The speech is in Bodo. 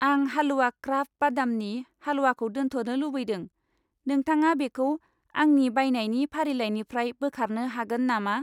आं हाल्वा क्राफ्ट बादामनि हालवाखौ दोनथ'नो लुबैदों, नोंथाङा बेखौ आंनि बायनायनि फारिलाइनिफ्राय बोखारनो हागोन नामा?